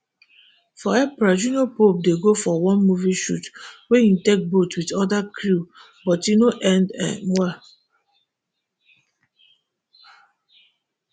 for april junior pope dey go for one movie shoot wey am take boat wit oda crew but e no end um well